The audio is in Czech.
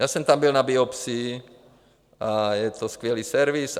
Já jsem tam byl na biopsii a je to skvělý servis.